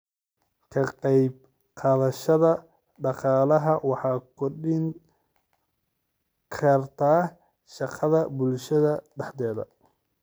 Ka qaybqaadashada dhaqaalaha waxay kordhin kartaa shaqada bulshada dhexdeeda.